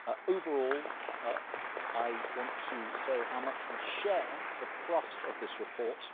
Overall, I want to say how much we share the thrust of this report.